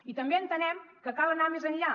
i també entenem que cal anar més enllà